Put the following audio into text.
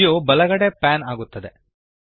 view ಬಲಗಡೆಗೆ pan ಆಗುತ್ತದೆ